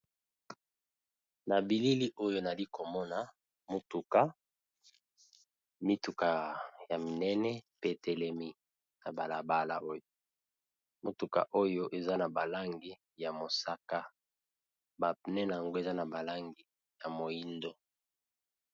Na billi Oyo Nayali komona eza mutuka Oyo eaa na kangi ya mosaka na mihindo